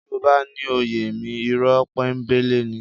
Tí mo bá ní ó yé mi, ìrọ́ pọ́nńbélé ni